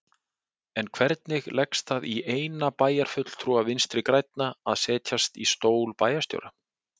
En hvernig leggst það í eina bæjarfulltrúa Vinstri-grænna að setjast í stól bæjarstjóra?